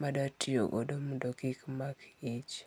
madatiyogodo mondo kik amak ich.